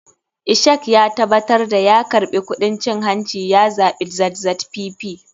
Ishak ya tabatar da ya karɓi kuɗin cin hanci ya zaɓi zzpp.